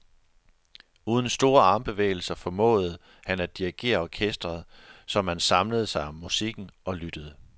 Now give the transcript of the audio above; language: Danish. Uden store armbevægelser formåede han at dirigere orkestret, så man samlede sig om musikken og lyttede.